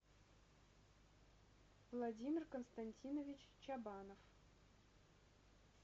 владимир константинович чабанов